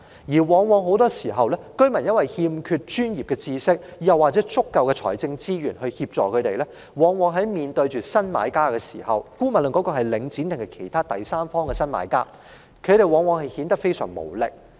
由於居民欠缺專業知識，沒有足夠財政資源協助，在面對新買家時——不論是領展還是其他第三方新買家——他們往往顯得非常無力。